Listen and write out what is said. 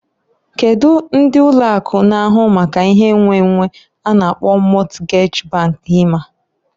Kedu ndi ụlọ akụ na ahụ maka ihe nnwennwe a na-akpọ Mọtgej bank ima?